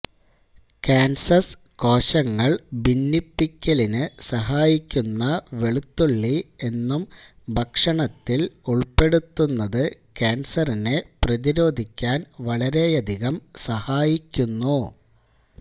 cancers കോശങ്ങള് ഭിന്നിപ്പിക്കലിന് സഹായിക്കുന്ന വെളുത്തുള്ളി എന്നും ഭക്ഷണത്തില് ഉള്പ്പെടുത്തത് ക്യാന്സറിനെ പ്രതിരോധിക്കാന് വളരെയധികം സഹായിക്കുന്നു